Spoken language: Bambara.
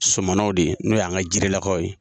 Sɔmɔnɔw de ye, n'o y'an ka Jirela lakaw ye.